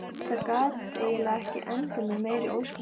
Það gat eiginlega ekki endað með meiri ósköpum.